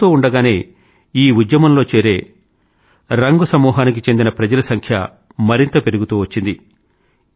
చూస్తూండగానే ఈ ఉద్యమంలో చేరే రంగ్ సమూహానికి చెందిన ప్రజల సంఖ్య మరింతగా పెరుగుతూ వచ్చింది